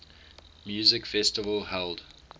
music festival held